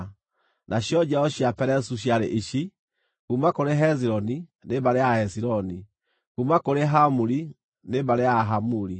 Nacio njiaro cia Perezu ciarĩ ici: kuuma kũrĩ Hezironi, nĩ mbarĩ ya Ahezironi; kuuma kũrĩ Hamuli, nĩ mbarĩ ya Ahamuli.